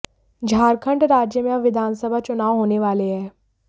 झारखण्ड राज्य में अब विधानसभा चुनाव होने वाले हैं